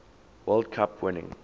world cup winning